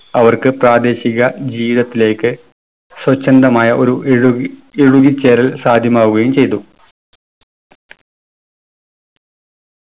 അവർക്ക് പ്രാദേശിക ജീവിതത്തിലേക്ക് സ്വച്ഛന്ദമായ ഒരു എഴുകി എഴുകിച്ചേരൽ സാധ്യമാവുകയും ചെയ്തു